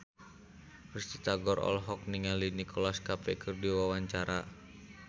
Risty Tagor olohok ningali Nicholas Cafe keur diwawancara